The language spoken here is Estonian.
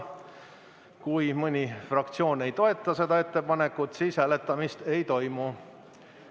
Kui mõni fraktsioon ei toeta seda ettepanekut, siis hääletamist ei toimu.